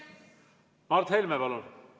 Mart Helme, palun!